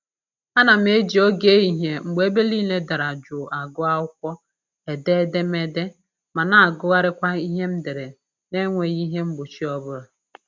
Ana m eji oge ehihie mgbe ebe niile dara jụụ agụ akwụkwọ, ede edemede, ma na-agụgharịkwa ihe m dere na-enweghị ihe mgbochi ọbụla